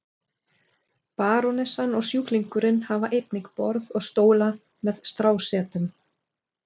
Barónessan og sjúklingurinn hafa einnig borð og stóla með strásetum.